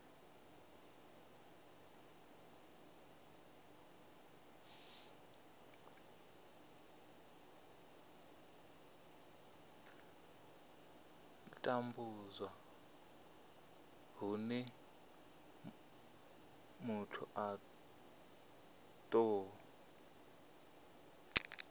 tambudzwa hune muthu a tou